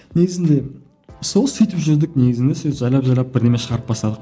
негізінде сол сөйтіп жүрдік негізінде сол жайлап жайлап бірдеме шығарып бастадық